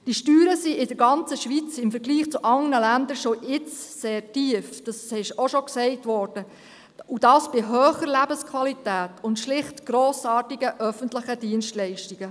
Die Steuern sind in der ganzen Schweiz, im Vergleich zu anderen Ländern, schon jetzt sehr tief – dies ist auch schon gesagt worden – und dies bei hoher Lebensqualität und schlicht grossartigen öffentlichen Dienstleistungen.